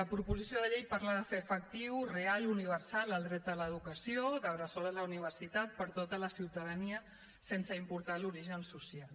la proposició de llei parla de fer efectiu real i universal el dret a l’educació de la bressol a la universitat per a tota la ciutadania sense importar l’origen social